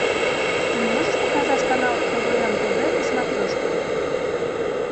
ты можешь показать канал квн тв на смотрешке